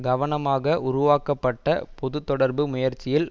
கவனமாக உருவாக்கப்பட்ட பொது தொடர்பு முயற்சியில்